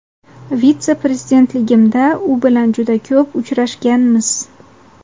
vitse-prezidentligimda u bilan juda ko‘p uchrashganmiz.